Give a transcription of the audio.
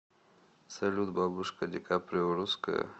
салют бабушка ди каприо русская